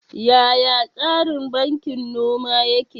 Yaya tsarin bankin noma yake?